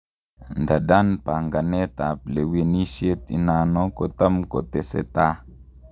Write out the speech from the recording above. Ndadan panganet ap lewenishet inano kotamkoteseta